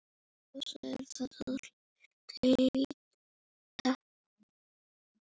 Oftast er það til lýta.